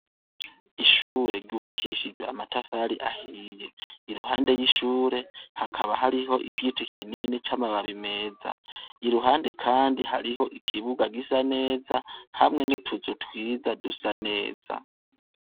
Ishure ryubakishijwe amatafari ahiye iruhande y'ishure hakaba hariho igiti kinini c'amababi meza iruhande, kandi hariho ikibuga gisa neza hamwe n'utuzu twiza dusa neza.